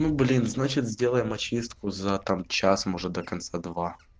блин значит сделаем очистку за там час может до конца